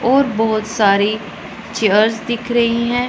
और बहुत सारी चेयर्स दिख रही हैं।